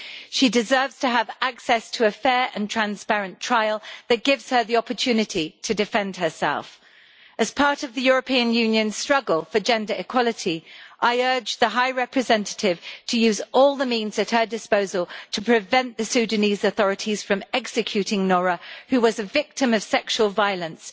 She deserves to have access to a fair and transparent trial that gives her the opportunity to defend herself. As part of the European Union struggle for gender equality, I urge the High Representative to use all the means at her disposal to prevent the Sudanese authorities from executing Noura, who was a victim of sexual violence.